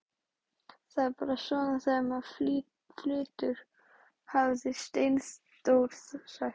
Það er bara svona þegar maður flytur, hafði Steindór sagt.